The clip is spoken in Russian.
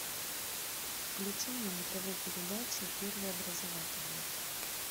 включи мне на тв передачу первый образовательный